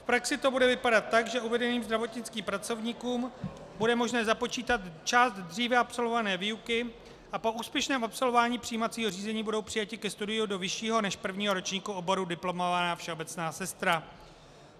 V praxi to bude vypadat tak, že uvedeným zdravotnickým pracovníkům bude možné započítat část dříve absolvované výuky a po úspěšném absolvování přijímacího řízení budou přijati ke studiu do vyššího než prvního ročníku oboru diplomovaná všeobecná sestra.